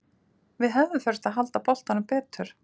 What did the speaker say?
Við hefðum þurft að halda boltanum betur.